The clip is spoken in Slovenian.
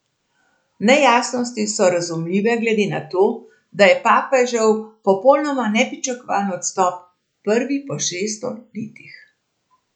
Nejasnosti so razumljive glede na to, da je papežev popolnoma nepričakovan odstop prvi po šeststo letih.